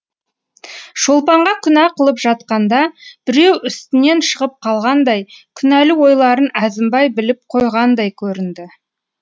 шолпанға күнә қылып жатқанда біреу үстінен шығып қалғандай күнәлі ойларын әзімбай біліп қойғандай көрінді